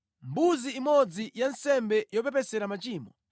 mbuzi imodzi ya nsembe yopepesera machimo;